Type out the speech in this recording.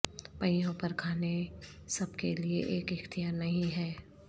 پہیوں پر کھانے سب کے لئے ایک اختیار نہیں ہے